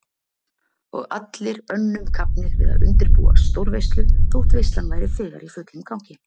Og allir önnum kafnir við að undirbúa stórveislu þótt veislan væri þegar í fullum gangi.